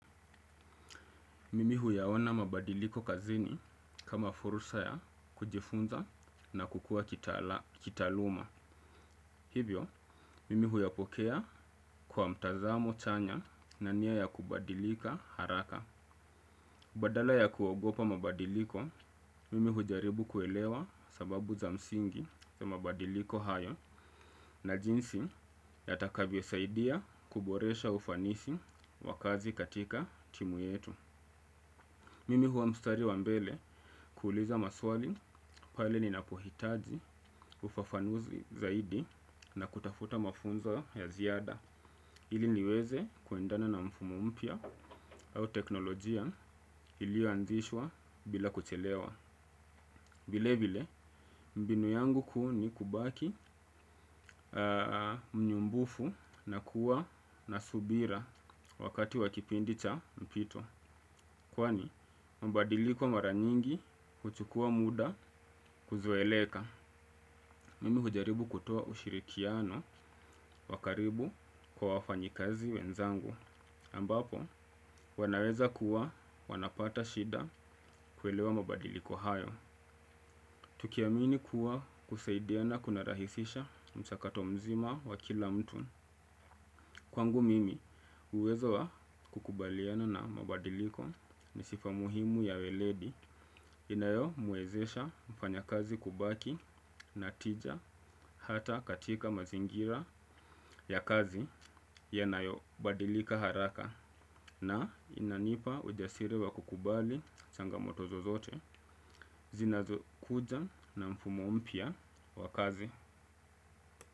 Mimi huyaona mabadiliko kazini kama furusa ya kujifunza na kukua kitaaluma. Hivyo, mimi huyapokea kwa mtazamo chanya na nia ya kubadilika haraka. Badala ya kuogopa mabadiliko, mimi hujaribu kuelewa sababu za msingi za mabadiliko hayo na jinsi yatakavyo saidia kuboresha ufanisi wakazi katika timu yetu. Mimi huwa mstari wa mbele kuuliza maswali pale ninapohitaji ufafanuzi zaidi na kutafuta mafunzo ya ziada. Ili niweze kuendana na mfumo mpya au teknolojia ilioanzishwa bila kuchelewa. Vile vile, mbinu yangu kuu ni kubaki mnyumbufu na kuwa na subira wakati wakipindi cha mpito. Kwani, mabadiliko mara nyingi kuchukua muda kuzoeleka. Mimi hujaribu kutoa ushirikiano wakaribu kwa wafanyikazi wenzangu. Ambapo, wanaweza kuwa wanapata shida kuelewa mabadiliko hayo. Tukiamini kuwa kusaidiana kuna rahisisha mchakato mzima wa kila mtu. Kwangu mimi uwezo wa kukubaliana na mabadiliko ni sifa muhimu ya weledi inayomwezesha mfanyakazi kubaki na tija hata katika mazingira ya kazi yanayo badilika haraka na inanipa ujasiri wa kukubali changamoto zozote zinazo kuja na mfumo mpya wa kazi.